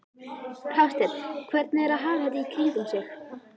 Hafsteinn: Hvernig er að hafa þetta í kringum sig?